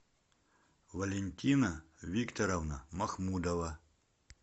валентина викторовна махмудова